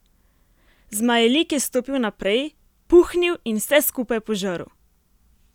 Zmajelik je stopil naprej, puhnil in vse skupaj požrl.